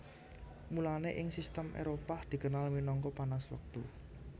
Mulane ing sistem Éropah dikenal minangka panas Wektu